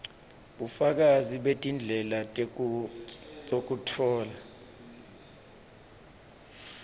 bufakazi betindlela tekutfola